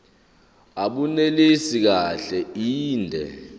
abunelisi kahle inde